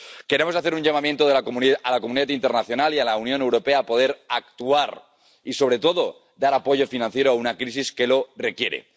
Queremos hacer un llamamiento a la comunidad internacional y a la Unión Europea para poder actuar y, sobre todo, dar apoyo financiero a una crisis que lo requiere.